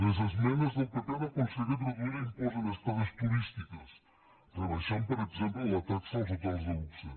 les esmenes del pp han aconseguit reduir l’impost d’estades turístiques en rebaixar per exemple la taxa als hotels de luxe